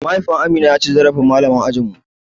Mahaifin Amina ya ci zarafin malamar ajin mu.